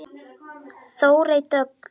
Þórey Dögg.